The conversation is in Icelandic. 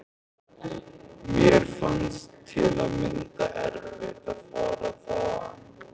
Mér fannst til að mynda erfitt að fara þaðan.